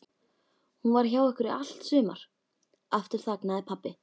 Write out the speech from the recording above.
Hún var hjá ykkur í allt sumar. Aftur þagnaði pabbi.